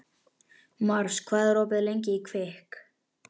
Mars, hvað er opið lengi í Kvikk?